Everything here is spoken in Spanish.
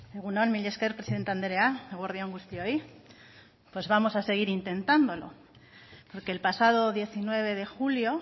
egun on mila esker presidente andrea eguerdi on guztioi pues vamos a seguir intentándolo porque el pasado diecinueve de julio